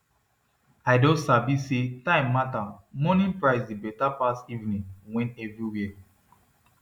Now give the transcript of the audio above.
i don sabi say time matter morning price dey better pass evening when everywhere